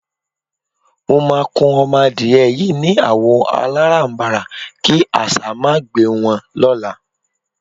Mo máa kun o̩mo̩ adìye̩ yìí ni àwò̩ aláràbarà kí às̩á má gbe wo̩n ló̩la.